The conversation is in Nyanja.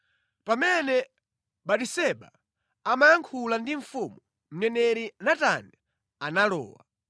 Pamene Batiseba amayankhula ndi mfumu, mneneri Natani analowa.